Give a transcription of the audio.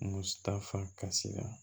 Mu ta fa kasi la